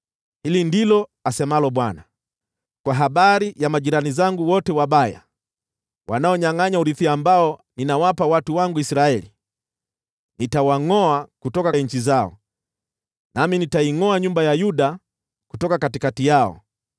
Hili ndilo asemalo Bwana : “Kwa habari ya majirani zangu wote wabaya wanaonyangʼanya urithi ambao ninawapa watu wangu Israeli, nitawangʼoa kutoka nchi zao, nami nitaingʼoa nyumba ya Yuda kutoka katikati yao.